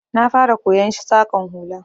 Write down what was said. Na fara koyon Saƙan hula